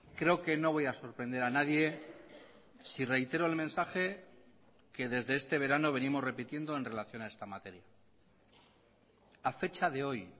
creo que no voy a sorprender a nadie si reitero el mensaje que desde este verano venimos repitiendo en relación a esta materia a fecha de hoy